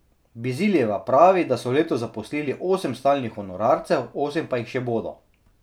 Biziljeva pravi, da so letos zaposlili osem stalnih honorarcev, osem pa jih še bodo.